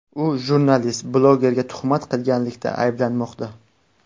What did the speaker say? U jurnalist-blogerga tuhmat qilganlikda ayblanmoqda.